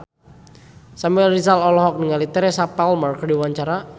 Samuel Rizal olohok ningali Teresa Palmer keur diwawancara